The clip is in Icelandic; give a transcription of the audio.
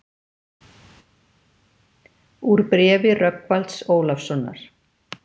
Úr bréfi Rögnvalds Ólafssonar